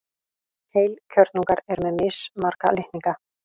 Heilkjörnungar eru með mismarga litninga.